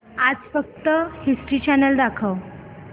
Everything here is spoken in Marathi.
आज फक्त हिस्ट्री चॅनल दाखव